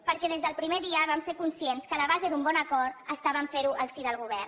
perquè des del primer dia vam ser conscients que la base d’un bon acord estava a ferho al si del govern